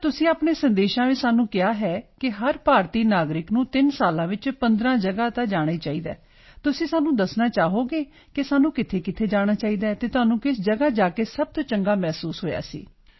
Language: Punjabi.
ਸਰ ਤੁਸੀਂ ਆਪਣੇ ਸੰਦੇਸ਼ਾਂ ਵਿੱਚ ਸਾਨੂੰ ਕਿਹਾ ਹੈ ਕਿ ਹਰ ਭਾਰਤੀ ਨਾਗਰਿਕ ਨੂੰ 3 ਸਾਲਾਂ ਵਿੱਚ 15 ਜਗ੍ਹਾ ਤਾਂ ਜਾਣਾ ਹੀ ਚਾਹੀਦਾ ਹੈ ਤੁਸੀਂ ਸਾਨੂੰ ਦੱਸਣਾ ਚਾਹੋਗੇ ਕਿ ਸਾਨੂੰ ਕਿੱਥੇ ਜਾਣਾ ਚਾਹੀਦਾ ਹੈ ਅਤੇ ਤੁਹਾਨੂੰ ਕਿਸ ਜਗ੍ਹਾ ਜਾ ਕੇ ਸਭ ਤੋਂ ਚੰਗਾ ਮਹਿਸੂਸ ਹੋਇਆ ਸੀ